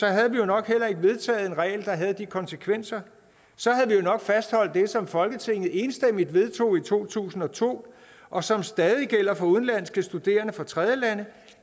havde vi jo nok heller ikke vedtaget en regel der havde de konsekvenser så havde vi jo nok fastholdt det som folketinget enstemmigt vedtog i to tusind og to og som stadig væk gælder for udenlandske studerende fra tredjelande